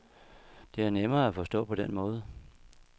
Det er nemmere at forstå på den måde.